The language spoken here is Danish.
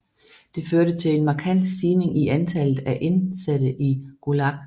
Det førte til en markant stigning i antallet af indsatte i Gulag